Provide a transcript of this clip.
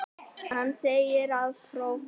Hann segir það prófmál.